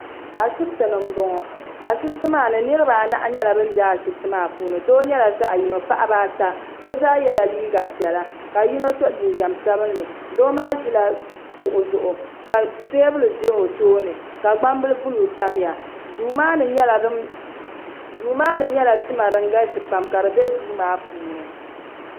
ashibiti ni n bɔŋɔ niraba anahi nyɛla bin bɛ ashibiti maa puuni doo nyɛla zaɣ yino paɣaba ata bi zaa yɛla liiga piɛla ka yino so jinjɛm sabinli Doo maa ʒila kuɣu zuɣu ka teebuli ʒɛ o tooni ka gbambili buluu tamya duu maa ni nyɛla tima din galisi pam ka di bɛ duu maa puuni